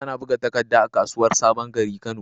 Ana buga takadda a kasuwar sabon gari, kano